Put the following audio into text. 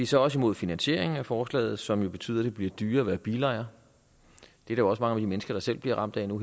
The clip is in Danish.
så også imod finansieringen af forslaget som jo betyder at det bliver dyrere at være bilejer det er jo også mange almindelige mennesker der selv bliver ramt nu